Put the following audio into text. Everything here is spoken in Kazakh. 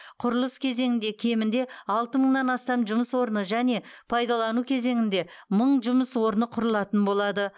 құрылыс кезеңінде кемінде алты мыңнан астам жұмыс орны және пайдалану кезеңінде мың жұмыс орны құрылатын болады